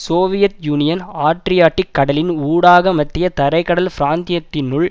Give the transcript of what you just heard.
Soviet Union Adriatic கடலின் ஊடாக மத்திய தரை கடல் பிராந்தியத்தினுள்